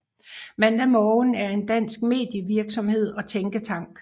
Mandag Morgen er en dansk medievirksomhed og tænketank